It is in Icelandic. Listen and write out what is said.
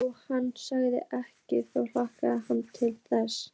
Þótt hann segði ekkert þá hlakkaði hann til þess.